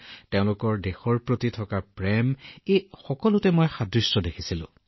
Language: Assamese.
আৰু সেয়া হল আপুনি ভাৰতৰ বাবে কি কৰিব বিচাৰে আৰু আপোনাৰ দেশক কিমান ভাল পায় মই দুয়োখন ৰাজ্যতে যথেষ্ট সাদৃশ্য দেখিছিলো